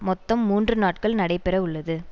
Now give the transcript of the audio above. மொத்தம் மூன்று நாட்கள் நடைபெறவுள்ளது